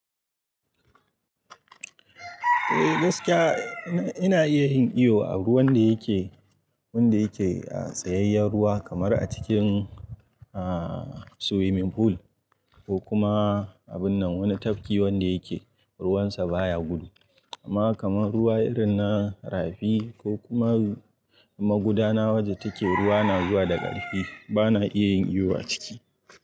Eh gaskiya ina, ina iya yin iyo a ruwan da yake, wanda yake a tsayayyen ruwa kamar a cikin ah swimming pool ko kuma abun nan wani tafki wanda yake ruwansa baya gudu. Amma kamar ruwa irin na rafi ko kuma magudana wadda take ruwa na zuwa daga ƙarfi, bana iya yin iyo a ciki.